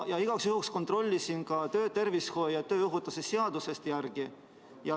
Igaks juhuks kontrollisin ka töötervishoiu ja tööohutuse seadusest järele.